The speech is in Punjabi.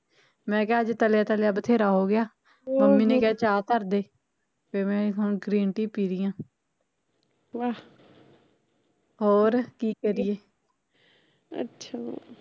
ਮੈਂ ਕਿਹਾ ਅੱਜ ਤਲਿਆ ਤਲਿਆ ਬਥੇਰਾ ਹੋਗਿਆ ਮੰਮੀ ਨੇ ਕਿਹਾ ਚਾਹ ਧਰ ਦੇ ਤੇ ਮੈਂ ਹੁਣ green tea ਪੀ ਰਹੀ ਹਾਂ ਹੋਰ ਕੀ ਕਰੀਏ ਅੱਛਾ